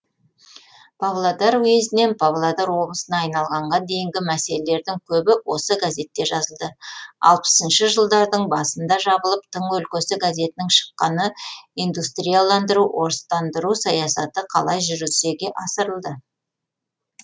павлодар уезінен павлодар облысына айналғанға дейінгі мәселелердің көбі осы газетте жазылды алпысыншы жылдардың басында жабылып тың өлкесі газетінің шыққаны индустрияландыру орыстандыру саясаты қалай жүзеге асырылды